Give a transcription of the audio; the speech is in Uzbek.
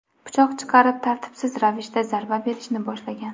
pichoq chiqarib, tartibsiz ravishda zarba berishni boshlagan.